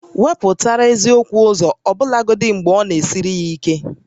Wepụta eziokwu ụzọ ọbụlagodi mgbe ọ na-esiri ya ike